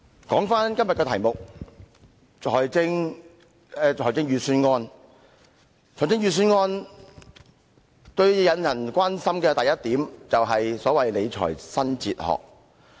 今天的議題是財政預算案，而最令人關心的是所謂"理財新哲學"。